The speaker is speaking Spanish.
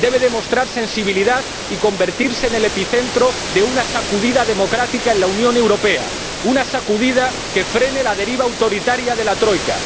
Debe demostrar sensibilidad y convertirse en el epicentro de una sacudida democrática en la Unión Europea, una sacudida que frene la deriva autoritaria de la Troika.